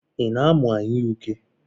Ị na-amụ anyụike?